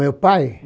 Meu pai?